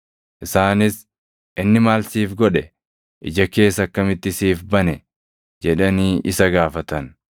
Isaanis, “Inni maal siif godhe? Ija kees akkamitti siif bane?” jedhanii isa gaafatan.